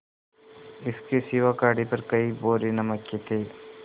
इसके सिवा गाड़ी पर कई बोरे नमक के थे